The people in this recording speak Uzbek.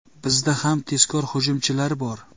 Bizda ham tezkor hujumchilar bor.